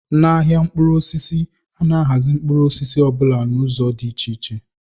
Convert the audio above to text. N'ahịa mkpụrụ osisi, a na-ahazi mkpụrụ osisi ọ bụla n'ụzọ dị iche